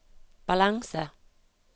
balanse